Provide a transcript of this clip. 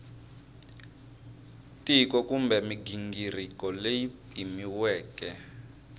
tiko kumbe mighingiriko leyi pimiweke